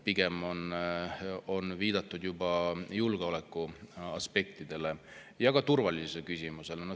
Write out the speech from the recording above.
Pigem on viidatud julgeolekuaspektidele ja ka turvalisusküsimusele.